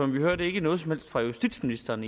vi hørte ikke noget som helst fra justitsministeren